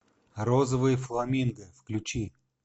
розовый фламинго включи